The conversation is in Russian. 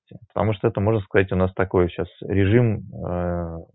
потому что это можно сказать у нас такой сейчас режим ээ